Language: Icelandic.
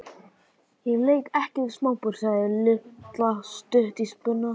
Ég leik ekki við smábörn sagði Lilla stutt í spuna.